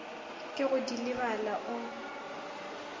ke go di lebala o